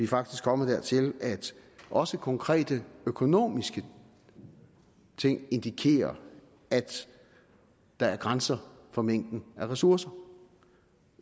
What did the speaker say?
faktisk kommet dertil at også konkrete økonomiske ting indikerer at der er grænser for mængden af ressourcer